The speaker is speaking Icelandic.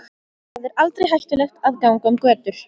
Þar er aldrei hættulegt að ganga um götur.